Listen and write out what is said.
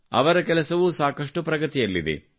ಅವರ ಕೆಲಸವೂ ಸಾಕಷ್ಟು ಪ್ರಗತಿಯಲ್ಲಿದೆ